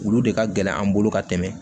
Olu de ka gɛlɛn an bolo ka tɛmɛ